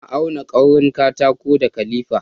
Na auna kaurin katako da kalifa